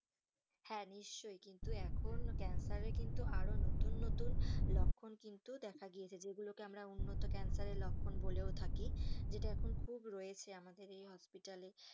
হ্যাঁ, নিশ্চই কিন্তু এখন ক্যান্সারের কিন্তু আরো নতুন নতুন লক্ষণ কিন্তু দেখা গিয়েছে যেগুলোকে আমরা উন্নত ক্যান্সারের লক্ষণ বলেও থাকি যেটা এখন খুব রয়েছে আমাদের hospital এ.